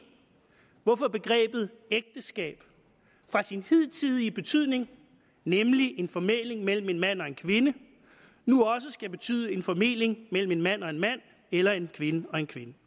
hvorfor begrebet ægteskab fra sin hidtidige betydning nemlig en formæling mellem en mand og en kvinde nu også skal betyde en formæling mellem en mand og en mand eller en kvinde og en kvinde